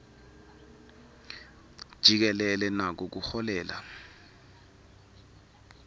jikelele nako kuholela